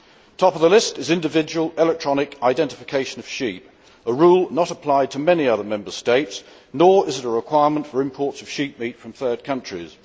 Top of the list is the individual electronic identification of sheep a rule which is not applied to many other Member States, and nor is it a requirement for imports of sheepmeat from third countries.